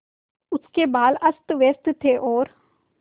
उसके बाल अस्तव्यस्त थे और